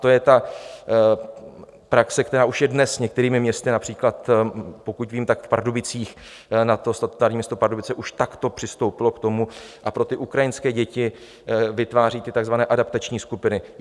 To je ta praxe, která už je dnes některými městy, například pokud vím, tak v Pardubicích na to statutární město Pardubice už takto přistoupilo k tomu a pro ty ukrajinské děti vytváří ty takzvané adaptační skupiny.